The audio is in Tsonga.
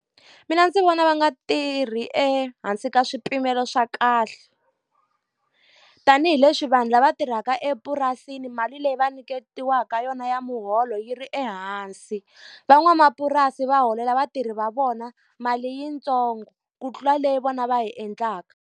Mina ndzi vona va nga tirhi ehansi ka swipimelo swa kahle. Tanihi leswi vanhu lava tirhaka epurasini mali leyi va nyiketiwaka yona ya muholo yi ri ehansi. Van'wamapurasi va holela vatirhi va vona mali yitsongo ku tlula leyi vona va hi endlaka.